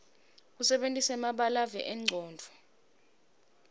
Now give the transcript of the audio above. kusebentisa emabalave engcondvo